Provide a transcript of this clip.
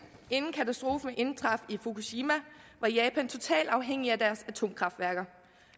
inden katastrofen indtraf i fukushima var japan totalt afhængig af deres atomkraftværker